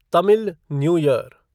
Tamil new year